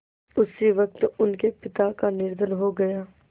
उसी वक़्त उनके पिता का निधन हो गया